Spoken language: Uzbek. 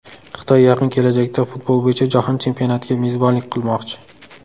Xitoy yaqin kelajakda futbol bo‘yicha jahon chempionatiga mezbonlik qilmoqchi.